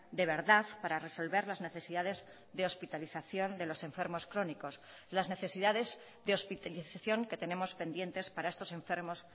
de verdad para resolver las necesidades de hospitalización de los enfermos crónicos las necesidades de hospitalización que tenemos pendientes para estos enfermos